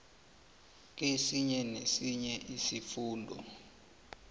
kesinye nesinye isifunda